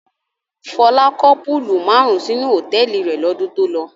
Fọlá kọ́ púúlù márùn-ún sínú hòtẹ́ẹ́lì rẹ̀ lọ́dún tó lọ.